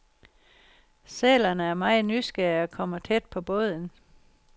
Sælerne er meget nysgerrige og kommer tæt på båden.